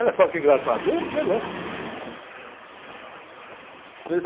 Olha só que engraçado, tenho primeiro ano.